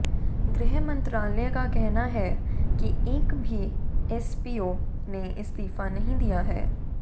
गृह मंत्रालय का कहना है कि एक भी एसपीओ ने इस्तीफा नहीं दिया है